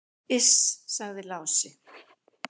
"""Iss, sagði Lási."""